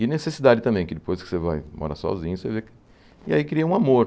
E necessidade também, que depois que você vai morar sozinho, você vê que... E aí cria um amor.